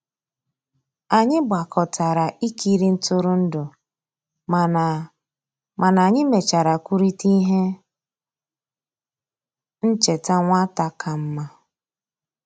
Anyị gbàkọtàrà ìkìrì ntụrụndụ, mànà mànà anyị mèchàrà kwùrịtà íhè nchèta nwata kàmmà.